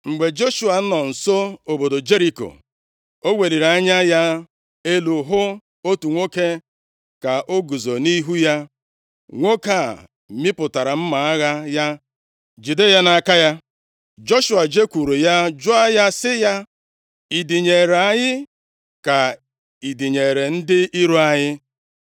Mgbe Joshua nọ nso obodo Jeriko, o weliri anya ya elu hụ otu nwoke ka o guzo nʼihu ya. Nwoke a mịpụtara mma agha ya jide ya nʼaka ya. Joshua jekwuru ya jụọ ya sị ya, “Ị dịnyeere anyị ka ị dịnyeere ndị iro anyị + 5:13 Maọbụ, ndị na-emegide anyị?”